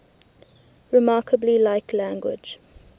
remarkably like language